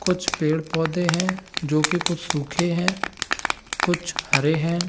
कुछ पेड़-पौधे हैं जो की कुछ सूखे हैं कुछ हरे हैं |